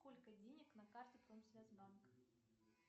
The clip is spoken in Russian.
сколько денег на карте промсвязь банк